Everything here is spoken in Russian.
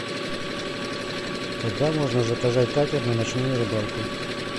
когда можно заказать катер на ночную рыбалку